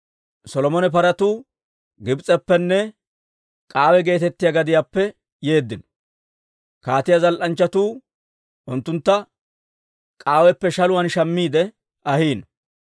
Solomone paratuu Gibs'eppenne K'aawe geetettiyaa gadiyaappe yeeddino. Kaatiyaa zal"anchchatuu unttuntta K'aaweppe shaluwaan shammiide ahiino.